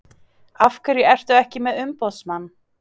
Af hverju ertu ekki með umboðsmann?